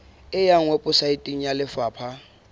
e ya weposaeteng ya lefapha